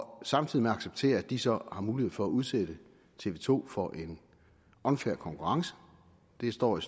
samtidig accepterer at de så har mulighed for at udsætte tv to for en unfair konkurrence det står i